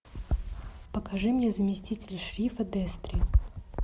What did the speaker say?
покажи мне заместитель шерифа дестри